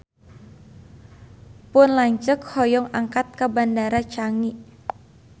Pun lanceuk hoyong angkat ka Bandara Changi